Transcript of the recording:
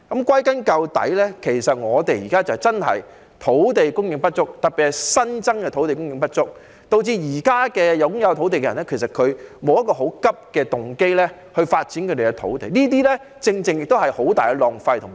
歸根究底，香港現在土地供應的確不足，特別是新增的土地供應不足，導致現時擁有土地的人沒有很急切的動機發展他們的土地，於是讓土地"曬太陽"，實在是非常浪費。